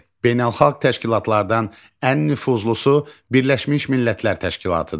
Beynəlxalq təşkilatlardan ən nüfuzlusu Birləşmiş Millətlər Təşkilatıdır.